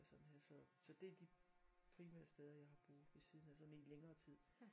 Og sådan her så så det de primære steder jeg har boet ved siden af sådan i længere tid